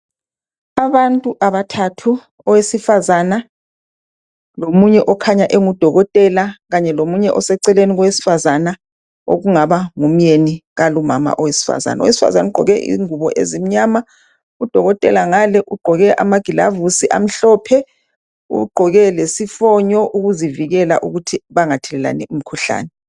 Abantu abathathu owesifazana lomunye okhanya engudokotela kanye lomunye eseceleni kowesifazana okungaba ngumnyeni kalumama owesifazana ugqoke ingubo ezimnyama udokotela ngale ugqoke amagilovisi amhlophe ugqoke lesifonyo ukuzivikela ukuthi bengathelelani imikhuhlane.